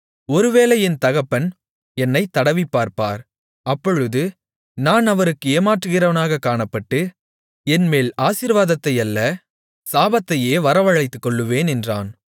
ஒருவேளை என் தகப்பன் என்னைத் தடவிப்பார்ப்பார் அப்பொழுது நான் அவருக்கு ஏமாற்றுகிறவனாகக் காணப்பட்டு என்மேல் ஆசீர்வாதத்தை அல்ல சாபத்தையே வரவழைத்துக்கொள்வேன் என்றான்